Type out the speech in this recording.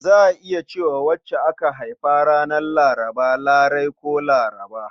Za a iya ce wa wadda aka haifa ranar Laraba Larai ko Larba.